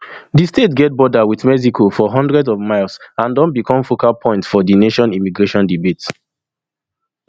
dis state get border wit mexico for hundreds of miles and don become focal point of di nation immigration debate